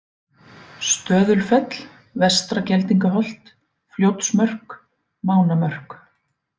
Stöðulfell, Vestra-Geldingaholt, Fljótsmörk, Mánamörk